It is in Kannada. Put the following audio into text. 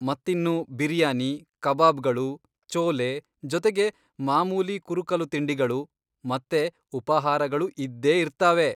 ಮತ್ತಿನ್ನು ಬಿರಿಯಾನಿ, ಕಬಾಬ್ಗಳು, ಚೋಲೆ ಜೊತೆಗೆ ಮಾಮೂಲಿ ಕುರುಕಲು ತಿಂಡಿಗಳು ಮತ್ತೆ ಉಪಾಹಾರಗಳೂ ಇದ್ದೇ ಇರ್ತಾವೆ.